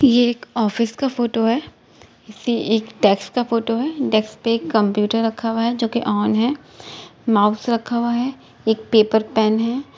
ये एक ऑफिस का फोटो है | ये एक डेस्क का फोटो है डेस्क पर कंप्यूटर रखा हुआ है जो कि ऑन है माउस रखा हुआ है | एक पेपर पेन है |